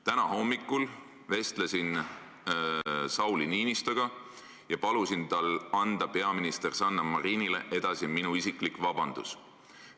Täna hommikul vestlesin Sauli Niinistöga ja palusin tal anda peaminister Sanna Marinile edasi minu isiklik vabandus.